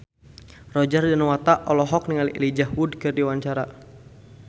Roger Danuarta olohok ningali Elijah Wood keur diwawancara